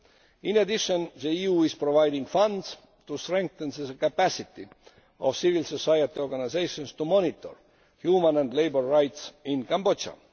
In addition, the EU is providing funds to strengthen the capacity of civil society organisations to monitor human and labour rights in Cambodia.